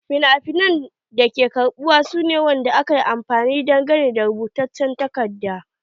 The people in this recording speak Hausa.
Finafina na karbuwa su ne finafinai da aka yi dangane da rubutaccen takarda.